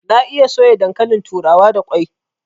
Na iya soya dankalin turawa da kwai